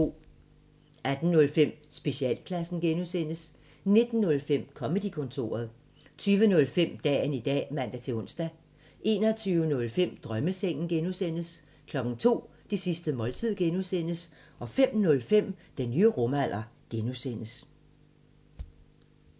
18:05: Specialklassen (G) 19:05: Comedy-kontoret 20:05: Dagen i dag (man-ons) 21:05: Drømmesengen (G) 02:00: Det sidste måltid(G) 05:05: Den nye rumalder (G)